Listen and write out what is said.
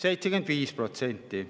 75%.